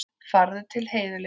Farðu til Heiðu litlu.